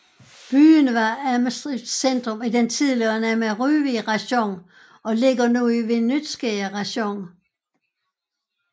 Byen var administrativt centrum i den tidligere Nemyriv rajon og ligger nu i Vinnytska rajon